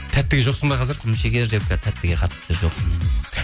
тәттіге жоқсың ба қазір құмшекер жеп қазір тәттіге қатты жоқпын